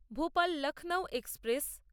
Bhopal Lucknow express